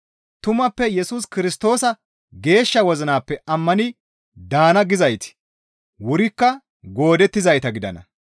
Tumappe Yesus Kirstoosa geeshsha wozinappe ammani daana gizayti wurikka goodettizayta gidana.